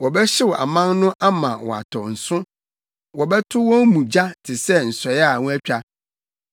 Wɔbɛhyew aman no ama wɔatɔ nso; wɔbɛto wɔn mu gya te sɛ nsɔe a wɔatwa.”